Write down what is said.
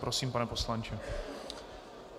Prosím, pane poslanče.